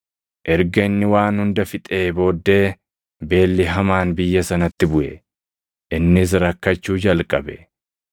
Erga inni waan hunda fixee booddee beelli hamaan biyya sanatti buʼe; innis rakkachuu jalqabe.